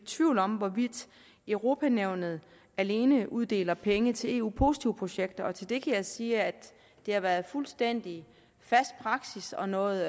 tvivl om hvorvidt europa nævnet alene uddeler penge til eu positive projekter og til det kan jeg sige at det har været fuldstændig fast praksis og noget